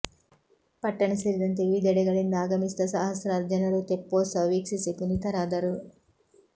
ಪಟ್ಟಣ ಸೇರಿದಂತೆ ವಿವಿಧೆಡೆಗಳಿಂದ ಆಗಮಿಸಿದ್ದ ಸಹಸ್ರಾರು ಜನರು ತೆಪ್ಪೋತ್ಸವ ವೀಕ್ಷಿಸಿ ಪುನೀತರಾದರು